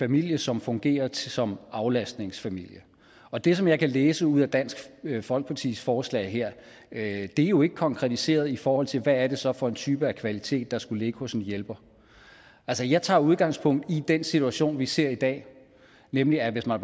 familie som fungerer som aflastningsfamilie og det som jeg kan læse ud af dansk folkepartis forslag her er jo ikke konkretiseret i forhold til hvad det så er for en type kvalitet der skulle ligge hos en hjælper altså jeg tager udgangspunkt i den situation vi ser i dag nemlig at hvis man